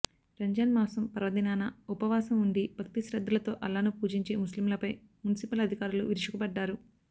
రంజాన్ మాసం పర్వదినాన ఉపవాసం ఉండి భక్తిశ్రద్ధలతో అల్లాను పూజించే ముస్లింలపై మున్సిపల్ అధికారులు విరుచుకుపడ్డారు